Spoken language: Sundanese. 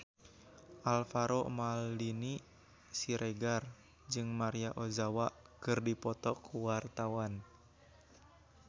Alvaro Maldini Siregar jeung Maria Ozawa keur dipoto ku wartawan